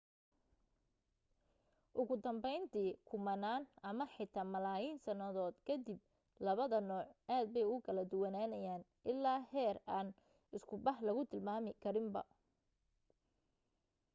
ugu danbayntii kumanaan ama xitaa malaayiin sannadood ka dib labada nooc aad bay u kala duwanaanayaan ilaa heer aan isku bah lagu tilmaami karinba